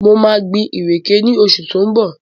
Mo maa gbin ìrèké ní oṣù tí ó ń bọ̀